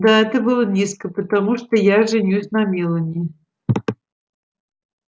да это было низко потому что я женюсь на мелани